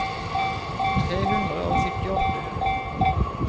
tre hundre og syttiåtte